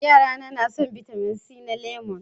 Yara na suna son bitamin c na lemu